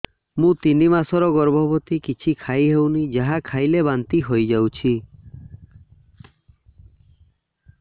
ମୁଁ ତିନି ମାସର ଗର୍ଭବତୀ କିଛି ଖାଇ ହେଉନି ଯାହା ଖାଇଲେ ବାନ୍ତି ହୋଇଯାଉଛି